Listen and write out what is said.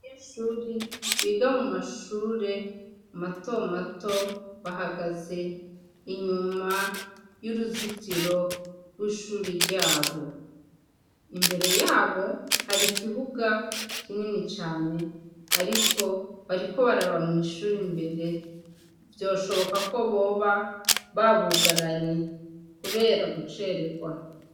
Shuri biga mu mashure mato mato bahagaze inyuma y'uruzitiro rw'ishure ryabo imbere yabo hari ikibuga kinini cane, ariko bariko baraba mw'ishure imbere vyoshobokako boba babugaranye, kubera gucererwa.